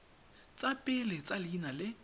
tsa pele tsa leina le